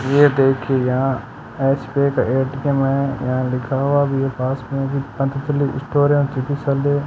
ये देखिए यहां यहां लिखा हुआ पास में भी पतंजली स्टोर है --